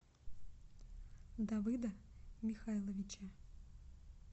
давыда михайловича